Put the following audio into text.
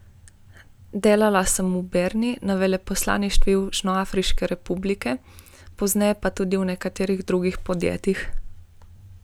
Delala sem v Bernu na veleposlaništvu Južnoafriške republike, pozneje pa še v nekaj drugih podjetjih.